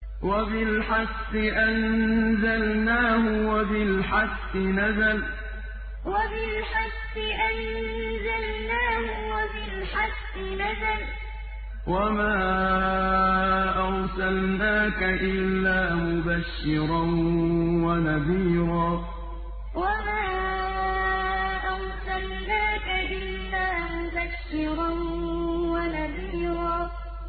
وَبِالْحَقِّ أَنزَلْنَاهُ وَبِالْحَقِّ نَزَلَ ۗ وَمَا أَرْسَلْنَاكَ إِلَّا مُبَشِّرًا وَنَذِيرًا وَبِالْحَقِّ أَنزَلْنَاهُ وَبِالْحَقِّ نَزَلَ ۗ وَمَا أَرْسَلْنَاكَ إِلَّا مُبَشِّرًا وَنَذِيرًا